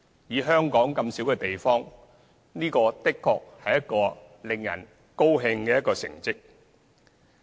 以香港這樣小的地方，這的確是一個令人高興的成績。